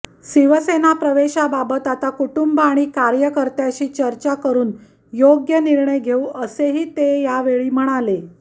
शिवसेना प्रवेशाबाबत आता कुटुंब आणि कार्यकर्त्याशी चर्चा करून योग्य निर्णय घेऊ असेही ते यावेळी म्हणाले